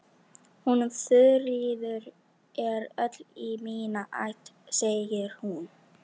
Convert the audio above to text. Hún Þuríður er öll í mína ætt segir hún.